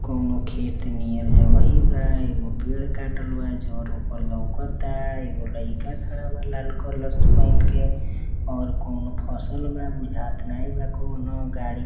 कउनो खेत नियर जगहि बा| एगो पेड़ काटल बा जर ओकर लउकत आ| एगो लइका खड़ा बा लाल कलर से पहिंन के| कउनो फसल बा बुझात नई बा कउन हौ गाड़ी--